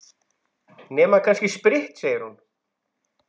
Nema kannski spritt, segir hún.